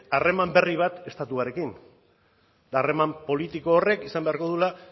harreman berri bat estatuarekin eta harreman politiko horrek izan beharko duela